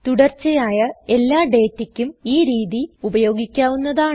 തുടർച്ചയായ എല്ലാ ഡേറ്റക്കും ഈ രീതി ഉപയോഗിക്കാവുന്നതാണ്